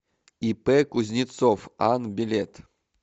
ип кузнецов ан билет